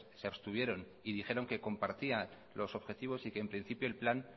se abstuvieron y dijeron que compartía los objetivos y que en principio el plan